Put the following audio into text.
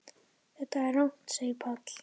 Þetta er rangt segir Páll.